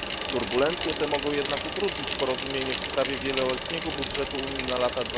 Turbulencje te mogą jednak utrudnić porozumienie w sprawie wieloletniego budżetu Unii na lata